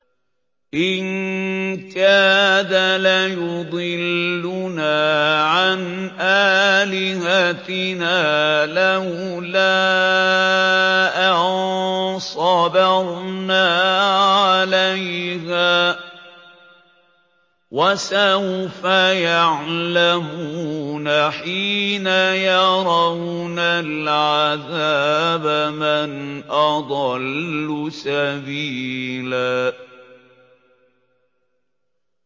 إِن كَادَ لَيُضِلُّنَا عَنْ آلِهَتِنَا لَوْلَا أَن صَبَرْنَا عَلَيْهَا ۚ وَسَوْفَ يَعْلَمُونَ حِينَ يَرَوْنَ الْعَذَابَ مَنْ أَضَلُّ سَبِيلًا